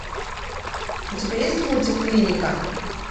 у тебя есть мультик клиника